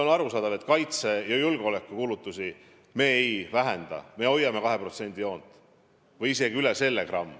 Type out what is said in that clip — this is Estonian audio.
On arusaadav, et kaitse- ja julgeolekukulutusi me ei vähenda, me hoiame 2% joont või isegi gramm üle selle.